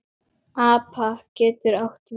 APA getur átt við